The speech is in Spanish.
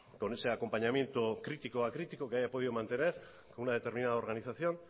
con ese acompañamiento crítico que haya podido mantener con una determinada organización